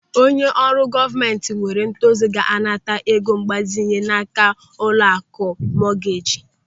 Onye ọrụ gọọmenti nwere ntozu ga-anata ego mgbazinye n'áká ụlọaku mọgeeji.